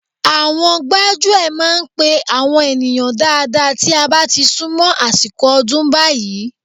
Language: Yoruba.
Àwọn gbájúẹ̀ máa ń pe àwọn ènìyàn dáadáa tí a bá ti sún mọ́ àsìkò ọdún báyìí